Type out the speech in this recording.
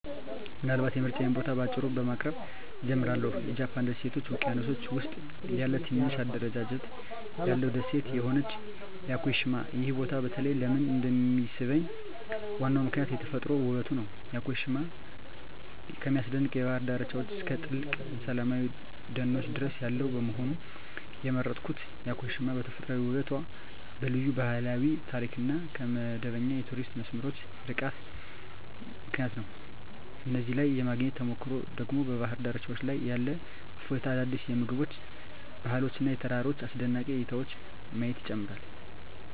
ምናልባት የምርጫዬን ቦታ በአጭሩ በማቅረብ እጀምራለሁ -የጃፓን ደሴቶች ውቅያኖስ ውስጥ ያለ ትንሽ አደረጃጀት ያለው ደሴት የሆነችው ያኮሺማ። ይህ ቦታ በተለይ ለምን እንደሚሳብኝ ዋናው ምክንያት የተፈጥሮ ውበቱ ነው። ያኮሺማ ከሚያስደንቅ የባህር ዳርቻዎች እስከ ጥልቅ ሰላማዊ ደኖች ድረስ ያለው በመሆኑ። የመረጥኩት ያኮሺማ በተፈጥሯዊ ውበቷ፣ በልዩ ባህላዊ ታሪክ እና ከመደበኛ የቱሪስት መስመሮች ርቃታ ምክንያት ነው። እዚያ ላይ የማግኘት ተሞክሮ ደግሞ በባህር ዳርቻዎች ላይ ያለ እፎይታ፣ አዳዲስ የምግብ ባህሎች እና የተራራ አስደናቂ እይታዎችን ማየት ይጨምራል።